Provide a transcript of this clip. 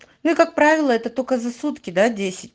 я как правило это только за сутки да десять